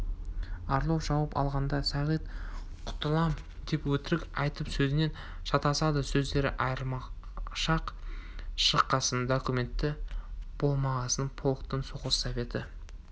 орлов жауап алғанда сағит құтылам деп өтірік айтып сөзінен шатасады сөздері айыршақ шыққасын документі болмағасын полктың соғыс советі